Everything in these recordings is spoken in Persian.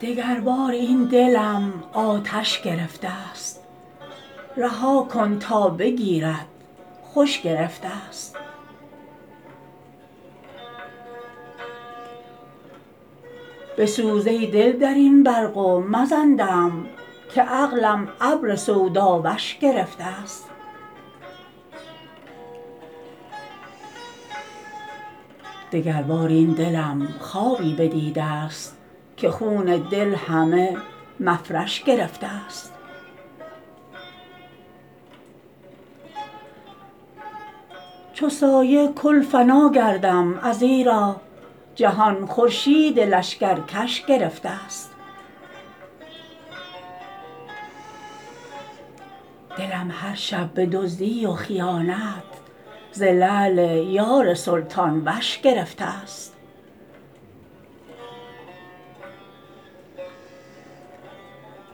دگربار این دلم آتش گرفته ست رها کن تا بگیرد خوش گرفته ست بسوز ای دل در این برق و مزن دم که عقلم ابر سوداوش گرفته ست دگربار این دلم خوابی بدیده ست که خون دل همه مفرش گرفته ست چو سایه کل فنا گردم ازیرا جهان خورشید لشکرکش گرفته ست دلم هر شب به دزدی و خیانت ز لعل یار سلطان وش گرفته ست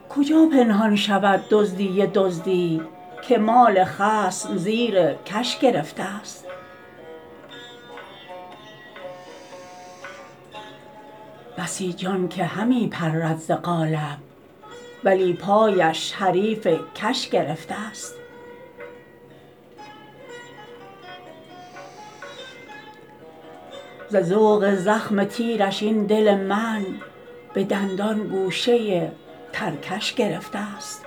کجا پنهان شود دزدی دزدی که مال خصم زیر کش گرفته ست بسی جان که همی پرد ز قالب ولی پایش حریف کش گرفته ست ز ذوق زخم تیرش این دل من به دندان گوشه ترکش گرفته ست